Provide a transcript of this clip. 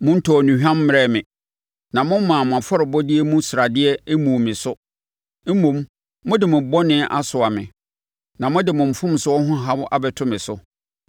Montɔɔ nnuhwam mmrɛɛ me, na mommaa mo afɔrebɔdeɛ mu sradeɛ mmuu me so. Mmom, mode mo bɔne asoa me na mode mo mfomsoɔ ho haw abɛtɔ me so.